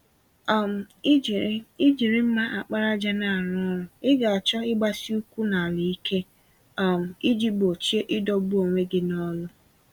um Ijiri Ijiri mma àkpàràjà n'arụ ọrụ, Ị ga-achọ ịgbasi-ụkwụ-n'ala-ike, um iji gbochie idọgbu onwe gị nọlụ